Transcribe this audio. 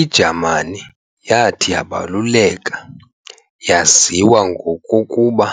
I-Jamani yathi yabaluleka yaziwa ngokokuba